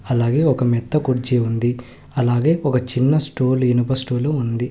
అలాగే ఒక మెత్త కుర్చీ ఉంది అలాగే ఒక చిన్న స్టోల్ ఇనుప స్టూలు ఉంది.